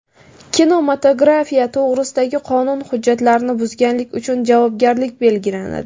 Kinematografiya to‘g‘risidagi qonun hujjatlarini buzganlik uchun javobgarlik belgilanadi.